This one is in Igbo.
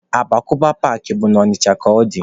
Agbakọba paakị bụ na Ọnịcha ka ọ dị.